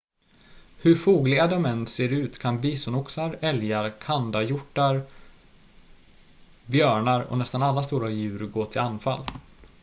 hur fogliga de än ser ut kan bisonoxar älgar kandahjortar björnar och nästan alla stora djur gå till anfall